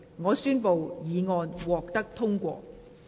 我宣布議案獲得通過。